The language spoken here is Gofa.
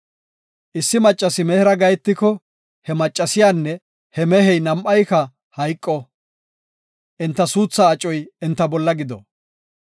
Issi maccasi mehera gahetiko he maccasiyanne he mehey nam7ay hayqo; enta suuthaa acoy enta bolla gido.